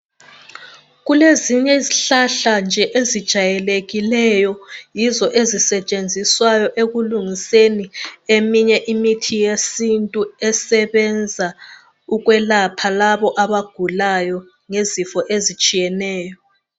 Kulezinye izihlahla nje ezijayekekileyo yizo ezisetshenziswayo ekulungiseni eminye imithi yesintu esebenza ukwelapha labo abagulayo ngezifo ezitshiyeneyo.